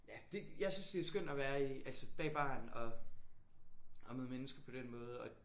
Ja det jeg synes det er skønt at være i altså bag baren og og møde mennesker på den måde og